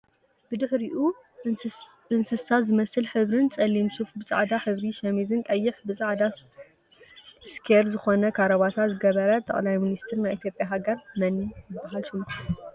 ብድሕሪኡ እንሳስ ዝመስል ሕብሪን ፀሊም ሱፍ ብፃዕዳ ሕብሪ ሸሚዝን ቀይሕ ብፃዕዳ እስኬር ዝኮነ ካራበታ ዝገበረ ጠቅላይ ሚኒስተር ናይ ኢትዮጵያ ሃገር መን ይብሃል ሽሙ?